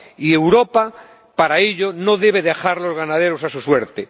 Y Europa, para ello, no debe dejar a los ganaderos a su suerte.